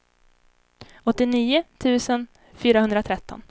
åttionio tusen fyrahundratretton